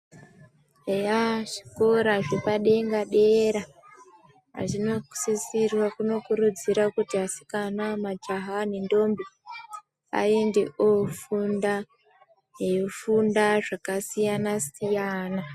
Eya zvikora zvepadera-dera, azvina kusisirwa zvinokurudzira kuti asikana majaha nendombi ,aende oofunda, eifunda zvakasiyana-siyana .